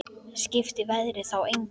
Skipti veðrið þá engu.